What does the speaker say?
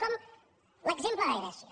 com l’exemple de grècia